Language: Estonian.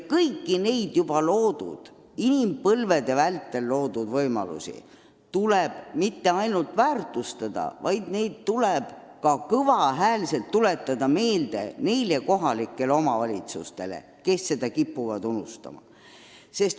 Kõiki neid inimpõlvede vältel loodud varasid ei tule mitte ainult väärtustada, vaid neid tuleb ka kõval häälel meelde tuletada kohalikele omavalitsustele, kes seda kipuvad unustama.